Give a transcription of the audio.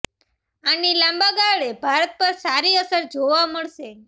આની લાંબા ગાળે ભારત પર સારી અસર જોવા મળશે